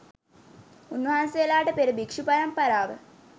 උන්වහන්සේලාට පෙර භික්ෂු පරම්පරාව